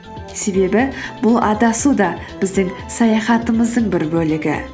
себебі бұл адасу да біздің саяхатымыздың бір бөлігі